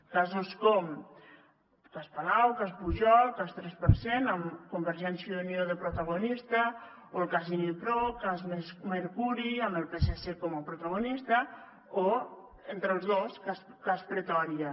casos com cas palau cas pujol cas tres per cent amb convergència i unió de protagonista o el cas inipro cas mercuri amb el psc com a protagonista o entre els dos cas pretòria